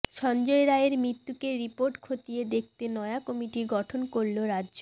সঞ্জয় রায়ের মৃত্যুতে রিপোর্ট খতিয়ে দেখতে নয়া কমিটি গঠন করল রাজ্য